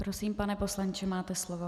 Prosím, pane poslanče, máte slovo.